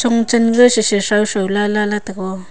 un chen je chechao chao lala tego.